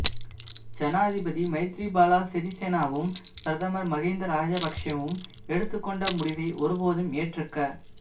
ஜனாதிபதி மைத்திரிபால சிறிசேனவும் பிரதமர் மஹிந்த ராஜபக்ஷவும் எடுத்துக்கொண்ட முடிவை ஒருபோதும் ஏற்றுக்க